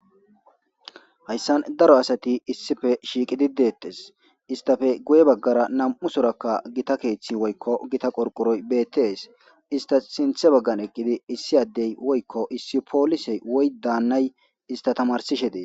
Hayssan daro asati issife shiiqidi dettes istafe guye baggara nam'u sorakka gita keeththi woykko gita qorqoroy beettees ista sinthe baggan eqqidi issi addey woykko issi poolisey woy daannay ista tamarsishe dee.